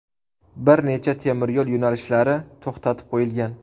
Bir necha temiryo‘l yo‘nalishlari to‘xtatib qo‘yilgan.